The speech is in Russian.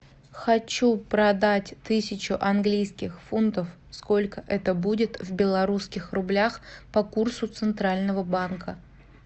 хочу продать тысячу английских фунтов сколько это будет в белорусских рублях по курсу центрального банка